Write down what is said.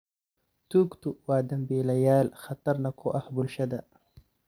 Tuugtu waa dambiilayaal khatarna ku ah bulshada.